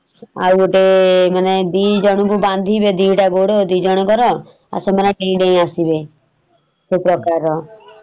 ଆଉ ଗୋଟେ ମାନେ ଦି ଜଣଙ୍କୁ ବାନ୍ଧି ଦି ଟା ଗୋଡ ଦି ଜଣଙ୍କର ଆଉ ସେମାନେ ଡେଇଁ ଡେଇଁ ଆସିବେ । ସେ ପ୍ରକାରର